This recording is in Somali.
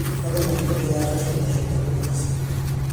fadlan ku ciyaar qaybta xigta podcast